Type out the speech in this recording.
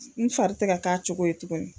N fari te ka k'a cogo ye tuguni